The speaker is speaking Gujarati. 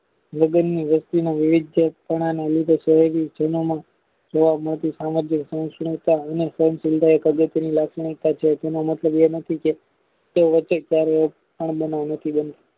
લગનની વ્યક્તિમાં વિવિધ પના નને લીધે કોઈ જીવનો તેનો મતલબ એ નથી કે